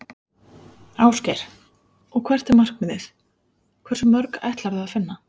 Ásgeir: Og hvert er markmiðið, hversu mörg ætlarðu að finna?